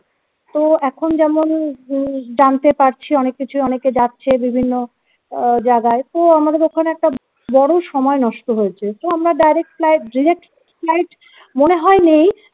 তো এখন যেমন উম জানতে পারছি অনেক কিছু অনেকে যাচ্ছে বিভিন্ন আহ জাগায় তো আমাদের ওখানে একটা বড় সময় নষ্ট হয়েছে তো আমরা direct flight direct flight মনে হয় নেই